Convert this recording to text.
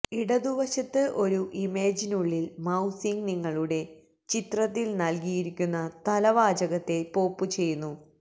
ഇടതുവശത്ത് ഒരു ഇമേജിനുള്ളിൽ മൌസിംഗ് നിങ്ങളുടെ ചിത്രത്തിൽ നൽകിയിരിക്കുന്ന തലവാചകത്തെ പോപ്പുചെയ്യുന്നു